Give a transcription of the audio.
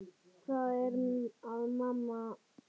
Hvað er að, mamma?